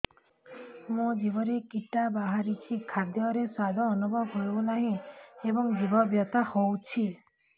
ମୋ ଜିଭରେ କିଟା ବାହାରିଛି ଖାଦ୍ଯୟରେ ସ୍ୱାଦ ଅନୁଭବ ହଉନାହିଁ ଏବଂ ଜିଭ ବଥା ହଉଛି